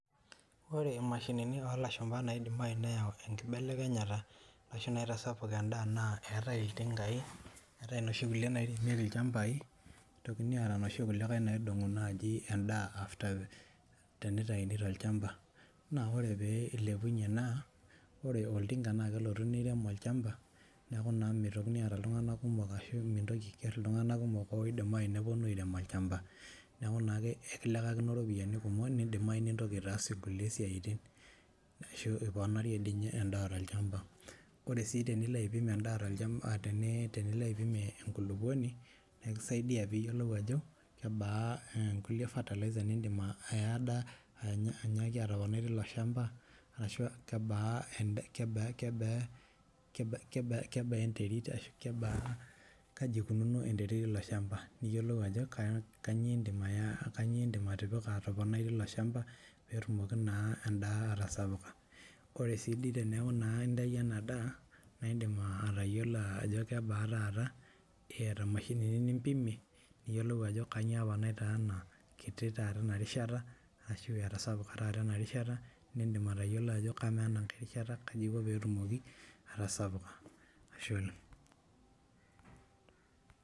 Ore imashini oo lashumpa naidim nayi neyau enkibelekenyata ashuu naitasapuk endaa naa keetae iltingai neeata inoshi kulie nairemieki ilchampai nitokini aata inoshi kulikae naidong'u naaji endaa teneitaini tolchampa naa oree pee eilepunye naa ore oltinga naa kelotu neirem olchampa neeku naa meitokini aata iltung'anak kumok ashuu mintoki aiger iltung'anak kumok oidim ainepu irem olchampa neeku naa ake ekilekakino iropiyiani kumok neidim nayii nintoki aitaas inkulie siyaitin ashuu iponarie endaa tolchampa orww sii tenilo aipim endaa toolchampa tenilo aipim ekulukuoni naa ekisaidia piyiolou ajo kebaa inkulie fertilizers najii neindim atoponai teilo shampa arashuu aa kebaa kebaa enterit ashuu kebaa ashuu kaji ekununo enterit eilo shampa niyolou ajo kanyioo iindim atipika atoponai teilo shampa peetumoki naa endaa atasapuka keaidai teneaku naa entayio inaa daa naa indim atayiolo ajo kebaa taata eyata imashinini nipimie niyolou ajo kanyio apa taitaana kitii tata ena rishata ashuu etasapuka taata ena rishata nendim atayiolo ajo kemaa ena nkae rishata kaji eikio pee etumoki atasapuka Ashe oleng'.